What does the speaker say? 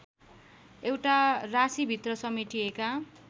एउटा राशीभित्र समेटिएका